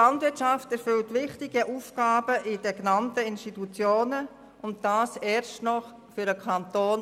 Die Landwirtschaft erfüllt wichtige Aufgaben in den genannten Institutionen und das ist erst noch kostengünstig für den Kanton.